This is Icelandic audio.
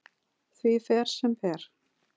Því fer sem fer.